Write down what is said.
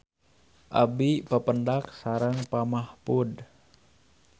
Abi papendak sareng Pak Mahfud